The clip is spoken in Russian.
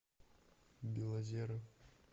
белозеров